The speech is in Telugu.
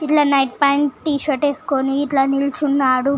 ఇట్లా నైట్ పెయింట్ టీ షర్ట్ వేసుకొని ఇట్లా నిలుచునాడు.